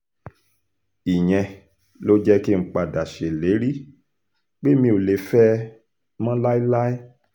ìyẹn ló jẹ́ kí n padà ṣèlérí pé mi ò lè fẹ́ ẹ mọ́ láéláé